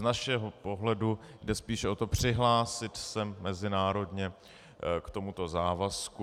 Z našeho pohledu jde spíše o to, přihlásit se mezinárodně k tomuto závazku.